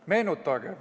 Meenutagem.